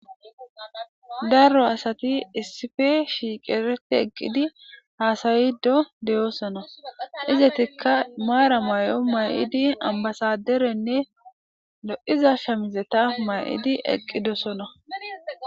Darro asati issife shiiqereti eqqidi haasayido deyosona izetikka maara may'o may'idi ambasaderenne do'iza shamizeta may'idi eqqidosona